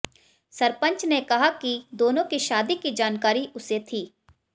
सरपंच ने कहा कि दोनों की शादी की जानकारी उसे थी